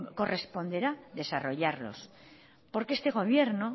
corresponderá desarrollarlos porque este gobierno